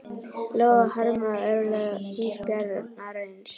Lóa: Harmarðu örlög ísbjarnarins?